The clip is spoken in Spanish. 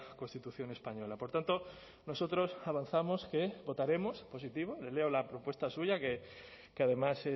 constitución española por tanto nosotros avanzamos que votaremos positivo le leo la propuesta suya que además